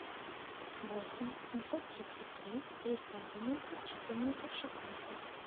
восемь семьсот тридцать три триста одиннадцать четырнадцать шестнадцать